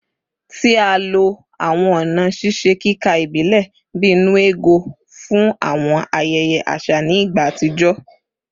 Ti a lo awọn ọna ṣiṣe kika ibilẹ bii “nnu ego” fun awọn ayẹyẹ aṣa ni igba atijọ